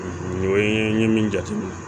Nin ye n ye min jateminɛ